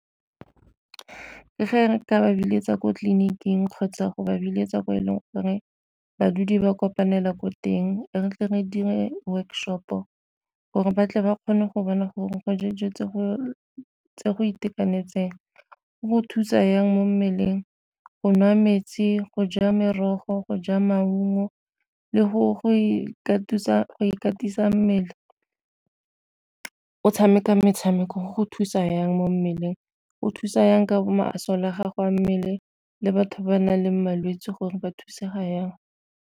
Ge re ka ba biletsa ko tleliniking kgotsa go ba biletsa ko e leng gore badudi ba kopanela ko teng, re tle re dire workshop-o gore ba tle ba kgone go bona gore go ja dijo tse go itekanetseng go thusa jang mo mmeleng. Go nwa metsi, go ja merogo, go ja maungo, le go ikatisa mmele o tshameka metshameko go thusa jang mo mmeleng, go thusa jang ka masole a gago a mmele le batho ba nang le malwetse gore ba thusega jang.